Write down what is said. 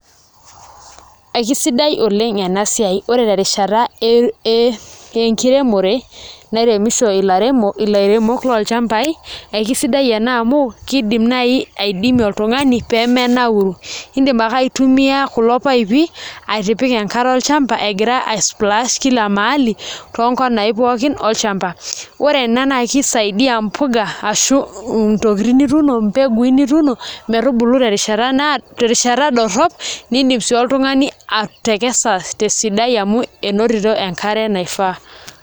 Ekesidai oleng' ena siai ore terishata enkiremore nairemi ilchambai, ekesidai ena amu kiidim naai aidimie oltung'ani pee menauru iindim aitumia kulo paipi atipika enkare olchamba egira aisplash kila mahali toonkonai pookin olchamba, ore ena naa kisaidia mpuka mbegui nituuno metubulu terishata dorrop niidim sii oltung'ani atekesa tesidai amu enotito enkare naifaa.